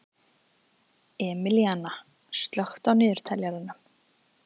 Emilíanna, slökktu á niðurteljaranum.